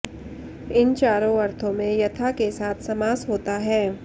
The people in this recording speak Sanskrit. इन चारों अर्थों में यथा के साथ समास होता है